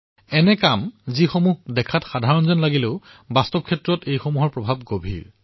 এনেকুৱা কাৰ্য যি দেখাত সাধাৰণ যেন লাগিলেও বাস্তৱিকতে তাৰ প্ৰভাৱ অধিক হয়